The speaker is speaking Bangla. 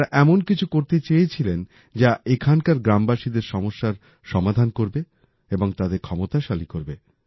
তাঁরা এমন কিছু করতে চেয়েছিলেন যা এখানকার গ্রামবাসীদের সমস্যার সমাধান করবে এবং তাদের ক্ষমতাশালী করবে